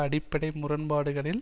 அடிப்படை முரண்பாடுகளில்